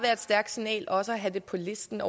stærkt signal også at have det på listen